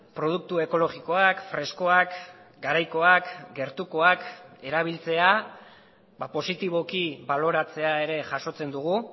produktu ekologikoak freskoak garaikoak gertukoak erabiltzea positiboki baloratzea ere jasotzen dugu